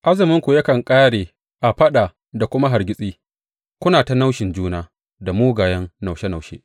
Azuminku yakan ƙare a faɗa da kuma hargitsi, kuna ta naushin juna da mugayen naushe naushe.